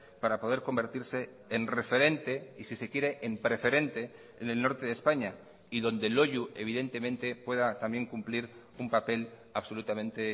para poder convertirse en referente y si se quiere en preferente en el norte de españa y donde loiu evidentemente pueda también cumplir un papel absolutamente